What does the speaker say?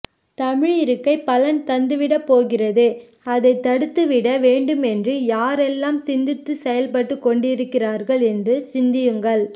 தமிழ் இருக்கை பலன் தந்துவிடப் போகிறது அதைத் தடுத்துவிட வேண்டும் என்று யாரெல்லாம் சிந்தித்துச் செயல் பட்டுக்கொண்டிருக்கிறார்கள் என்று சிந்தியுங்கள்